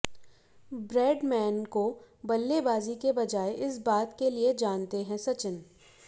Bradman को बल्लेबाजी के बजाय इस बात के लिए जानते हैं सचिन